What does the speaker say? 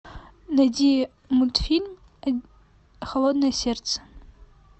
найди мультфильм холодное сердце